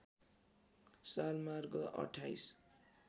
साल मार्ग २८